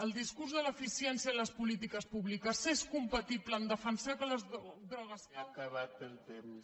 el discurs de l’eficiència en les polítiques públiques és compatible amb defensar que les drogues